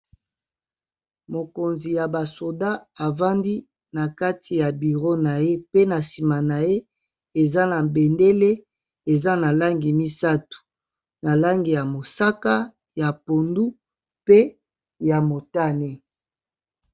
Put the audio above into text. Mokonzi ya ba soda avandi na kati ya bureau na ye pe na nsima na ye eza na bendele eza na langi misato na langi ya mosaka, ya pondu, pe ya motane.